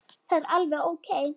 Það er alveg ókei.